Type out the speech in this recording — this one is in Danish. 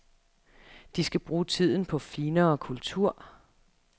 De skal bruge tiden på finere kultur.